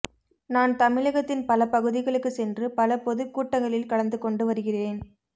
நான் தமிழகத்தின் பல பகுதிகளுக்கு சென்று பல பொது கூட்டங்களில் கலந்துகொண்டு வருகிறேன்